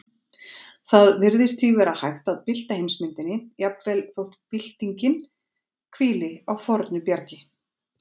Það virðist því vera hægt að bylta heimsmyndinni, jafnvel þótt byltingin hvíli á fornu bjargi.